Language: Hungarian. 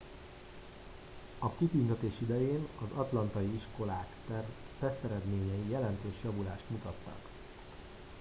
a kitüntetés idején az atlantai iskolák teszteredményei jelentős javulást mutattak